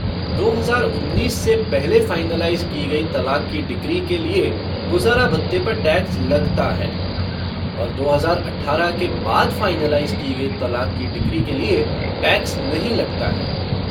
दो हज़ार उन्नीस से पहले फ़ाइनलाइज़ की गई तलाक की डिक्री के लिए गुज़ारा भत्ते पर टैक्स लगता है और दो हज़ार अठारह के बाद फ़ाइनलाइज़ की गई तलाक की डिक्री के लिए टैक्स नहीं लगता है।।